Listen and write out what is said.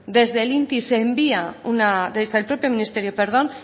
desde el propio ministerio